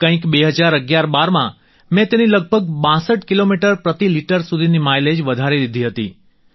કંઈક 201112માં મેં તેની લગભગ 62 કિલોમીટર પ્રતિ લિટર સુધીની માઈલેજ વધારી દીધી હતી